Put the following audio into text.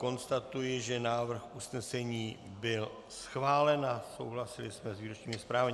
Konstatuji, že návrh usnesení byl schválen a souhlasili jsme s výročními zprávami.